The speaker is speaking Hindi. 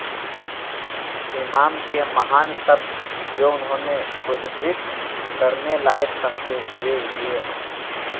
इमाम के महान शब्द जो उन्होंने उद्धृत करने लायक समझे वे ये हैं